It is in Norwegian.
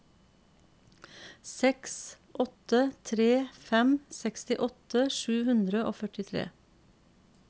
seks åtte tre fem sekstiåtte sju hundre og førtitre